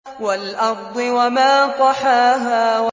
وَالْأَرْضِ وَمَا طَحَاهَا